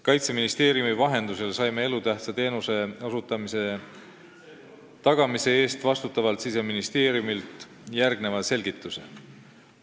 Kaitseministeeriumi vahendusel saime elutähtsa teenuse osutamise tagamise eest vastutavalt Siseministeeriumilt järgneva selgituse.